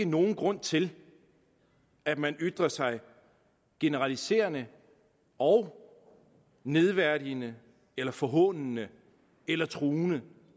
nogen grund til at man ytrer sig generaliserende og nedværdigende eller forhånende eller truende